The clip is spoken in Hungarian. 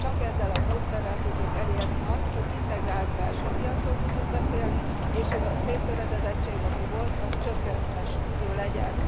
Csak ezzel a módszerrel tudjuk elérni azt, hogy integrált belső piacról tudjunk beszélni, és ez a széttöredezettség, ami volt, az csökkenthető legyen.